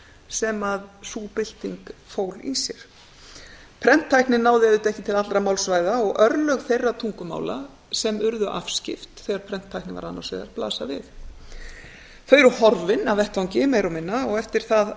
sem sú bylting fól í sér fól í sér prenttæknin náði ekki til allra málsvæða og örlög þeirra tungumála sem urðu afskipt þegar prenttæknin var annars vegar blasa við þau eru horfin af vettvangi meira og minna og eftir